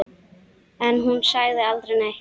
En hún sagði aldrei neitt.